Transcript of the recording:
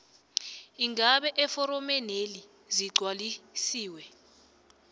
iingaba eforomeneli zigcwalisiwe